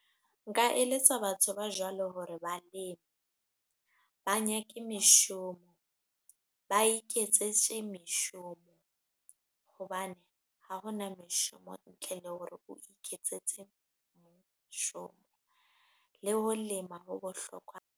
Nka eletsa batho ba jwalo hore baleme, ba nyake meshomo, ba iketsetse meshomo hobane ha hona meshomo ntle le hore o iketsetse moshome le ho lema ho bohlokwa.